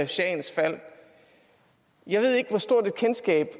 shahens fald jeg ved ikke hvor stort et kendskab